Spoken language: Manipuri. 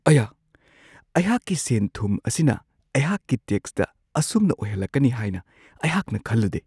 ꯑꯌꯥ! ꯑꯩꯍꯥꯛꯀꯤ ꯁꯦꯟ-ꯊꯨꯝ ꯑꯁꯤꯅ ꯑꯩꯍꯥꯛꯀꯤ ꯇꯦꯛꯁꯇ ꯑꯁꯨꯝꯅ ꯑꯣꯏꯍꯜꯂꯛꯀꯅꯤ ꯍꯥꯏꯅ ꯑꯩꯍꯥꯛꯅ ꯈꯜꯂꯨꯗꯦ ꯫